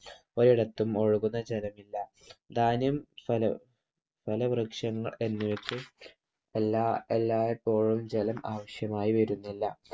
ഒരിടത്തും ഒഴുകുന്ന ജലമില്ല. ധാന്യം, ഫലവൃക്ഷങ്ങൾ എന്നിവക്കും എല്ലായ്‌പ്പോളും ജലം ആവശ്യമായി വരുന്നില്ല.